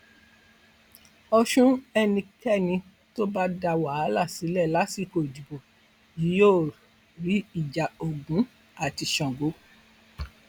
ọṣùn ẹnikẹni tó bá dá wàhálà sílẹ lásìkò ìdìbò yìí yóò rí ìjà ogun àti sango